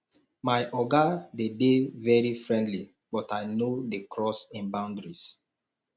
my oga dey dey very friendly but i no dey cross im boundaries